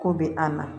Ko be an na